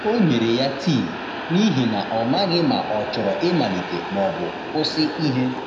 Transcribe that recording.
O nyere ya tii, n’ihi na ọ maghị ma ọ chọrọ ịmalite ma ọ bụ kwụsị ihe.